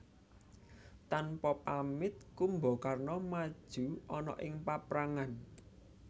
Tanpa pamit Kumbakarna maju ana ing paprangan